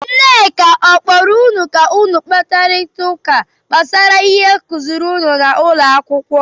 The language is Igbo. Nneka akpọọrọ gị ka ụnụ kparịta ụka gbasara ihe akụziri n'ụlọ akwụkwọ?